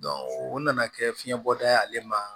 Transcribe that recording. o nana kɛ fiɲɛ bɔda ye ale ma